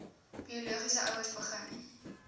biologiese ouers begin